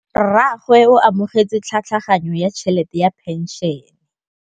Rragwe o amogetse tlhatlhaganyô ya tšhelête ya phenšene.